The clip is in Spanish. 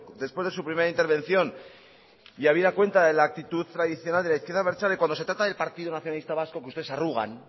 después de su primera intervención y habida cuenta de la actitud tradicional de la izquierda abertzale cuando se trata del partido nacionalista vasco que ustedes se arrugan